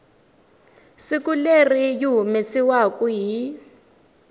siku leri yi humesiwaku hi